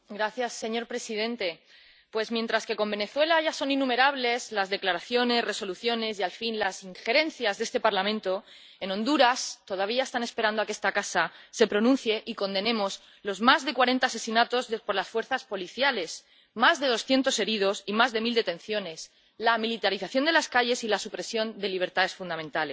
Señor presidente, pues mientras que con Venezuela ya son innumerables las declaraciones, resoluciones y, al fin, las injerencias de este Parlamento, en Honduras todavía están esperando a que esta casa se pronuncie y condenemos los más de cuarenta asesinatos por las fuerzas policiales, los más de doscientos heridos y las más de mil detenciones, la militarización de las calles y la supresión de libertades fundamentales.